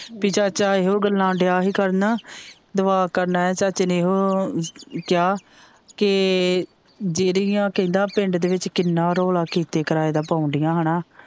ਪੀ ਚਾਚਾ ਇਹੋ ਗੱਲਾਂ ਦਿਆ ਹੀ ਕਰਨ ਦਵਾ ਕਰਨ ਆਇਆ ਚਾਚੇ ਨੇ ਇਹੋ ਹੋ ਕਿਹਾ ਕੇ ਜਿਹੜੀਆਂ ਕਹਿੰਦਾ ਪਿੰਡ ਦੇ ਵਿਚ ਕਿੰਨਾ ਰੌਲਾ ਕੀਤੇ ਕਰਾਏ ਦਾ ਪਾਉਂਦੀਆਂ ਹੇਨਾ।